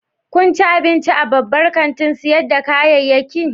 Kun ci abinci a babban kantin sayar da kayayyaki?